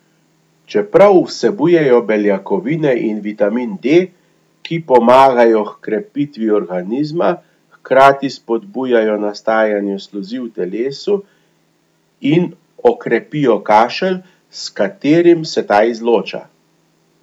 Čeprav vsebujejo beljakovine in vitamin D, ki pomagajo h krepitvi organizma, hkrati spodbujajo nastajanje sluzi v telesu in okrepijo kašelj, s katerim se ta izloča.